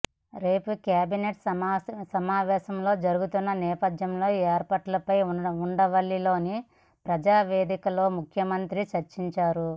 రేపు కేబినెట్ సమావేశం జరుగనున్న నేపథ్యంలో ఏర్పాట్లపై ఉండవల్లిలోని ప్రజావేదికలో ముఖ్యమంత్రితో చర్చించారు